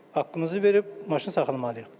Haqqımızı verib maşın saxlamalıyıq.